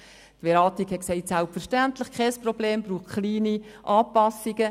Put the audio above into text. Die Beratung sagte, dies sei selbstverständlich kein Problem, es brauche kleine Anpassungen.